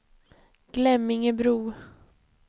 Glemmingebro